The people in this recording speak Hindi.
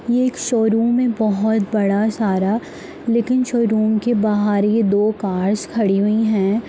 ये एक शोरूम है बहुत बड़ा सारा लेकिन शोरूम के बाहर ये दो कार्स खड़ी हुई हैं।